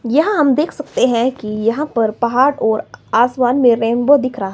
यहां हम देख सकते हैं कि यहां पर पहाड़ और आसमान में रेनबो दिख रहा।